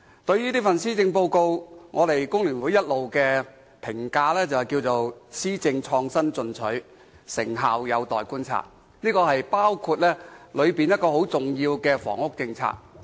對於這份施政報告，工聯會的評價是："施政創新進取，成效有待觀察"，包括當中很重要的房屋政策。